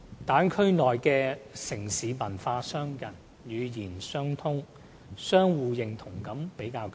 大灣區內的城市文化相近、語言相通，相互認同感比較強。